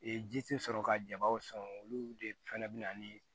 Ee ji tɛ sɔrɔ ka jabaw sɔn olu de fana bɛ na ni